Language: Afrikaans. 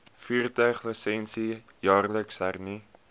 voertuiglisensie jaarliks hernu